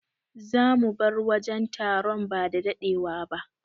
Zamu bar wajen taron bada dadewa ba.